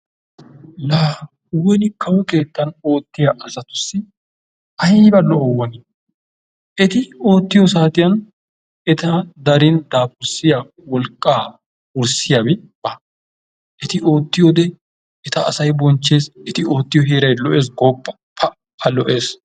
la woni kawo keettan oottiya saatussi aybba lo''o, eti oottiya wodiyan eta darin daafurissiya wolqqaa wurssiyaabi ba. eti ootiyoode eta asay bonchchees. eti ootiyo heeray lo''essi gooppa pa! lo'essi.